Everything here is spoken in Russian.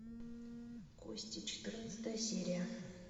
кости четырнадцатая серия